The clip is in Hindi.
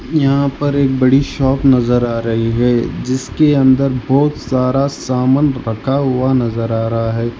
यहां पर एक बड़ी शॉप नजर आ रही है जिसके अंदर बहोत सारा सामान रखा हुआ नजर आ रहा है।